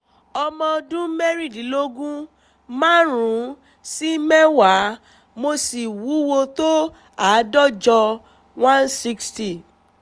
ọmọ ọdún mẹ́rìndínlógún márùn-ún sí mẹ́wàá mo sì wúwo tó àádọ́jọ one sixty